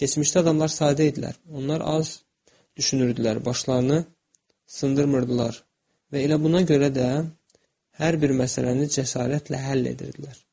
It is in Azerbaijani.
Keçmişdə adamlar sadə idilər, onlar az düşünürdülər, başlarını sındırmırdılar və elə buna görə də hər bir məsələni cəsarətlə həll edirdilər.